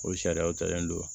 O sariyaw talen don